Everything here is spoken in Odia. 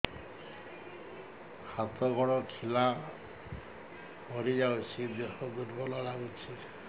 ହାତ ଗୋଡ ଖିଲା ମାରିଯାଉଛି ଦେହ ଦୁର୍ବଳ ଲାଗୁଚି